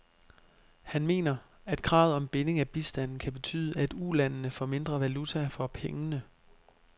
Han mener, at kravet om binding af bistanden kan betyde, at ulandene får mindre valuta for pengene.